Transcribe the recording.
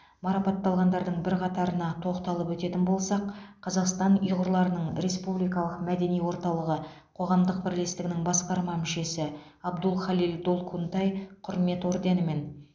марапатталғандардың бірқатарына тоқталып өтетін болсақ қазақстан ұйғырларының республикалық мәдени орталығы қоғамдық бірлестігінің басқарма мүшесі абдулхалил долкунтай құрмет орденімен